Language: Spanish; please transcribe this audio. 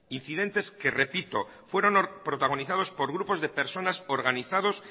incidentes que repito fueron protagonizados por grupos de personas organizados